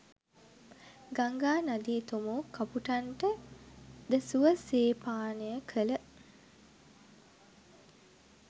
ගංගා නදී තොමෝ කපුටන්ට ද සුව සේ පානය කළ